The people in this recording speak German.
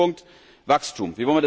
Der dritte Punkt Wachstum.